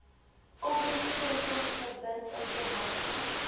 oproepsentrums verbind informante